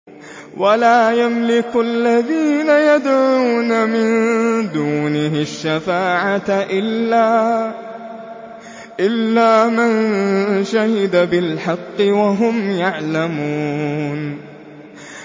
وَلَا يَمْلِكُ الَّذِينَ يَدْعُونَ مِن دُونِهِ الشَّفَاعَةَ إِلَّا مَن شَهِدَ بِالْحَقِّ وَهُمْ يَعْلَمُونَ